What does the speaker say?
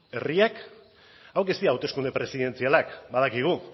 herriak hauek ez dira hauteskunde presidentzialak badakigu